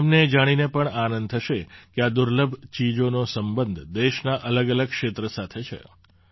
તમને એ જાણીને પણ આનંદ થશે કે આ દુર્લભ ચીજોનો સંબંધ દેશનાં અલગઅલગ ક્ષેત્ર સાથે છે